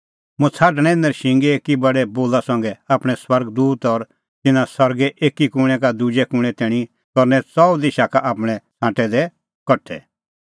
मुंह छ़ाडणैं नरशिंगेए एकी बडै बोला संघै आपणैं स्वर्ग दूत और तिन्नां सरगे एकी कूणैं का दुजै कूणैं तैणीं करनै च़ऊ दिशा का आपणैं छ़ांटै दै कठा